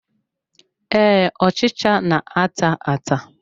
Ee, ọchịcha na-ata ata.